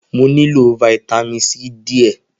Mo nilo Vitamin C diẹ.